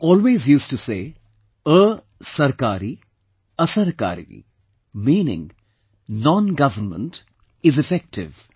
He always used to say 'A sarkari, Asarkari', meaning non government is effective